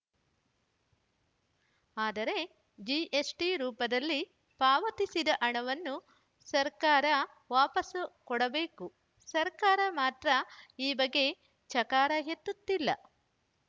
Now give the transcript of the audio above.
ಆದರೆ ಜಿಎಸ್‌ಟಿ ರೂಪದಲ್ಲಿ ಪಾವತಿಸಿದ ಹಣವನ್ನು ಸರ್ಕಾರ ವಾಪಾಸು ಕೊಡಬೇಕು ಸರ್ಕಾರ ಮಾತ್ರ ಈ ಬಗ್ಗೆ ಚಕಾರ ಎತ್ತುತ್ತಿಲ್ಲ